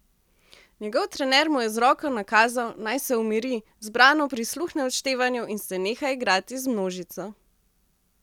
Njegov trener mu je z roko nakazal, naj se umiri, zbrano prisluhne odštevanju in se neha igrati z množico.